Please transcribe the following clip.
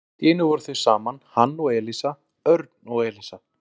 Og allt í einu voru þau saman, hann og Elísa, Örn og Elísa.